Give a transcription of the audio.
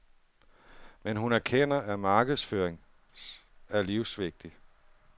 Men hun erkender, at markedsføring er livsvigtigt.